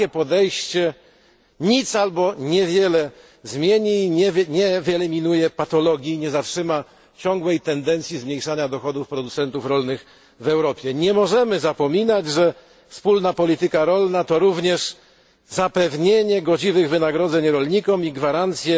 Takie podejście nic albo niewiele zmieni i nie wyeliminuje patologii i nie zatrzyma ciągłej tendencji do zmniejszania dochodów producentów rolnych w Europie Nie możemy zapominać, że wspólna polityka rolna to również zapewnienie godziwych wynagrodzeń rolnikom i gwarancja